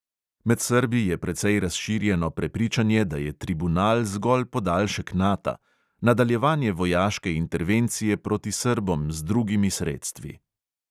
Med srbi je precej razširjeno prepričanje, da je tribunal zgolj podaljšek nata – nadaljevanje vojaške intervencije proti srbom z drugimi sredstvi.